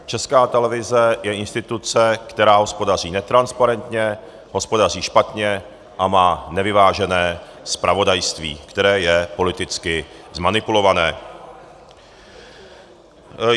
Česká televize je instituce, která hospodaří netransparentně, hospodaří špatně a má nevyvážené zpravodajství, které je politicky zmanipulované.